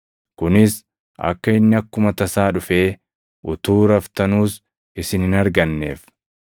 Kunis akka inni akkuma tasaa dhufee utuu raftanuus isin hin arganneef.